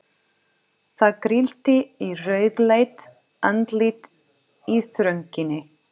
Það grillti í rauðleitt andlit í þrönginni.